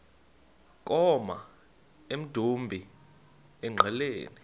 koma emdumbi engqeleni